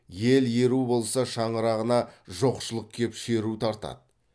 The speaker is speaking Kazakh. ел еру болса шаңырағына жоқшылық кеп шеру тартады